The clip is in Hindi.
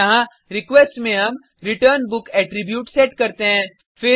यहाँ रिक्वेस्ट में हम रिटर्नबुक एट्रीब्यूट सेट करते हैं